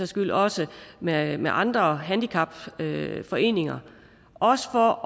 skyld også med med andre handicapforeninger også for